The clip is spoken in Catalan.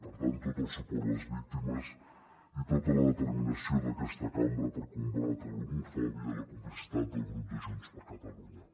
per tant tot el suport a les víctimes i tota la determinació d’aquesta cambra per combatre l’homofòbia i la complicitat del grup de junts per catalunya